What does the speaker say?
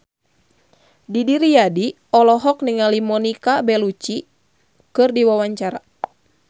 Didi Riyadi olohok ningali Monica Belluci keur diwawancara